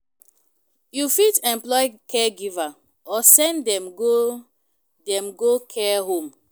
You fit employ caregiver or send dem go dem go care home